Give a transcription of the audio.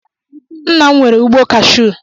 Ńnà m nwere ụgbọ kasu